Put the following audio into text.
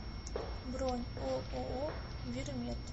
бронь ооо вирмед